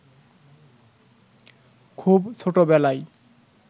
খুব ছোটবেলায়